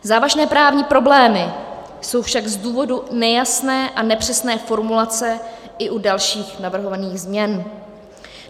Závažné právní problémy jsou však z důvodu nejasné a nepřesné formulace i u dalších navrhovaných změn.